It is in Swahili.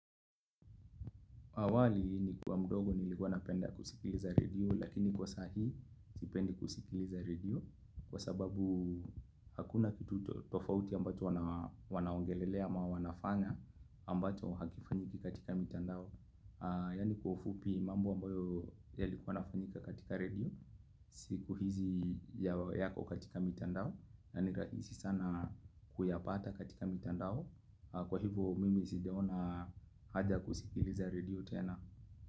Awali, nikiwa mdogo, nilikuwa napenda kusikiliza redio, lakini kwa sasa. Sipendi kusikiliza redio kwa sababu hakuna kitu tofauti ambacho wanaongelea, na wanafanya ambacho hakifanyiki katika mitandao. Yaani, kwa ufupi, mambo ambayo yalikuwa yanafanyika katika redio. Siku hizi yako katika mitandao, na ni rahisi sana kuyapata katika mitandao. Kwa hivyo, mimi sijaona haja ya kusikiliza redio tena.